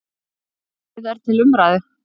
Málið er til umræðu.